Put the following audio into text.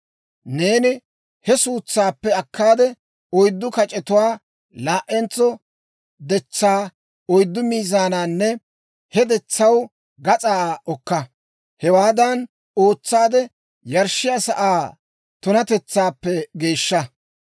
Neeni he suutsaappe akkaade, oyddu kac'etuwaa, laa"entso detsaa oyddu miizaananne he detsaw gas'aa okka. Hewaadan ootsaade, yarshshiyaa sa'aa tunatetsaappe geeshsha.